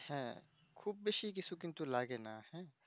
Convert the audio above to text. হ্যাঁ খুব বেশি কিন্তু লাগেনা হ্যাঁ